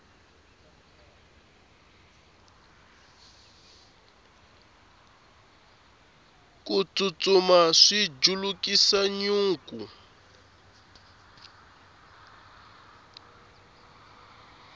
ku tsutsuma swi julukisa nyuku